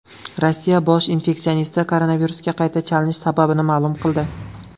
Rossiya bosh infeksionisti koronavirusga qayta chalinish sababini ma’lum qildi.